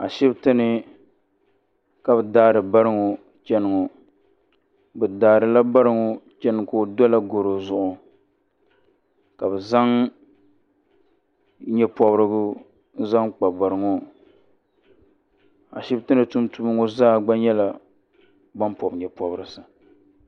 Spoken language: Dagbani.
Ashibiti ni ka bɛ daari bari ŋɔ chani ŋɔ bɛ daarila bari ŋɔ chana ka o dola garo zuɣu ka bɛ zaŋ nye'pɔbirigu zaŋ kpa bari ŋɔ Ashibiti ni Tuuntumdiba ŋɔ zaa gba nyɛla ban pɔbi nye'pɔbirisi.